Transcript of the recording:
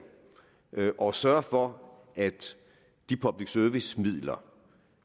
og sørge for at de public service midler